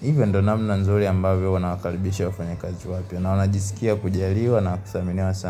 Hivyo ndo namna nzuri ambavyo nawakaribisha wafanya kazi wapya, na wanajisikia kujaliwa na kudhaminiwa sana.